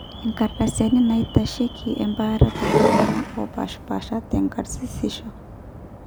inkardasini naaitasheiki embaare tooltung'anak oopaashipaasha te karsisisho